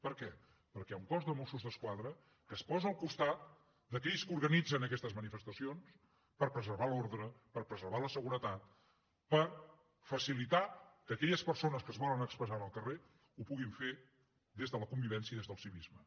per què perquè hi ha un cos de mossos d’esquadra que es posa al costat d’aquells que organitzen aquestes manifestacions per preservar l’ordre per preservar la seguretat per facilitat que aquelles persones que es volen expressar en el carrer ho puguin fer des de la convivència i des del civisme